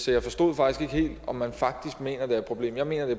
jeg forstod faktisk ikke helt om man mener at det er et problem jeg mener det